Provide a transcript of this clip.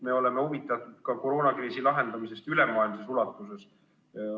Me oleme huvitatud koroonakriisi lahendamisest ka ülemaailmses ulatuses.